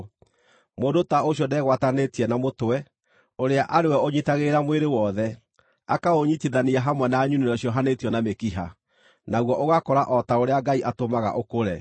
Mũndũ ta ũcio ndegwatanĩtie na Mũtwe, ũrĩa arĩ we ũnyiitagĩrĩra mwĩrĩ wothe, akaũnyiitithania hamwe na nyunĩro ciohanĩtio na mĩkiha, naguo ũgakũra o ta ũrĩa Ngai atũmaga ũkũre.